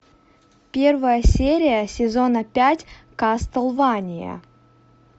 первая серия сезона пять кастлвания